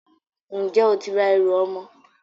Ǹjẹ́ o ti ra ẹrù ọmọ?